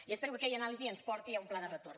i espero que aquella anàlisi ens porti a un pla de retorn